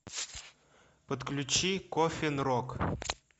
подключи коффин рок